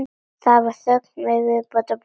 Það var þögn við borðið.